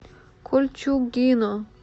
кольчугино